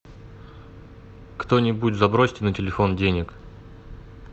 кто нибудь забросьте на телефон денег